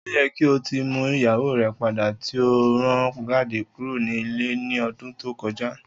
O yẹ ki o ti mu iyawo rẹ pada ti o ran jade kuro ni ile ni ọdun to koja.